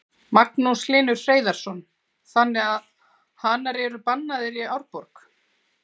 Magnús Hlynur Hreiðarsson: Þannig að hanar eru bannaðir í Árborg?